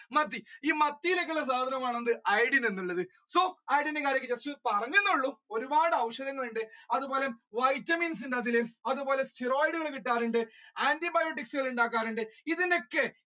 മത്തി ഈ മത്തിയിലൊക്കെയുള്ള സാധനമാണ് ഈ iodine എന്ന് പറയുന്നത് so iodine ന്റെ കാര്യം just പറഞ്ഞുന്നുള്ളൂ ഒരുപാട് ഔഷധങ്ങളുണ്ട് അതുപോലെ Vitamins ണ്ട് അതില് അതുപോലെ steroid കള് കിട്ടാറുണ്ട്. Antibiotics കള് ഉണ്ടാക്കാറുണ്ട് ഇതിന്റൊക്കെ